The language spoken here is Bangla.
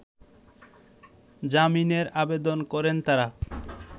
জামিনের আবেদন করেন তারা